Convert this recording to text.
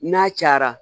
N'a cayara